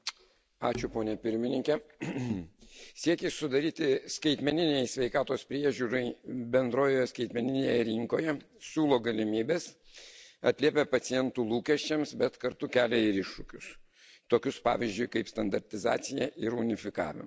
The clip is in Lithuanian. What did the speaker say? Ačiū ponia Pirmininke, siekiai sudaryti sąlygas skaitmeninei sveikatos priežiūrai bendroje skaitmeninėje rinkoje siūlo galimybes, atliepia pacientų lūkesčius, bet kartu kelia ir iššūkius, tokius, pavyzdžiui, kaip standartizacija ir unifikavimas.